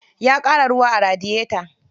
Ya ƙara ruwa a radiyeta.